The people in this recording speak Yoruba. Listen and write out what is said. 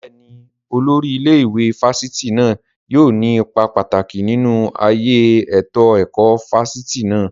Bẹ́ẹ̀ni, Olórí ilé ìwé fásitì náà yóò ní ipa pàtàkì nínú ayé ètò ẹ̀kọ́ fáfitì náà